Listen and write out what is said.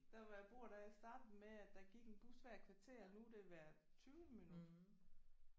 Der hvor jeg bor der startede det med at der gik en bus hvert kvarter nu er det hvert tyvende minut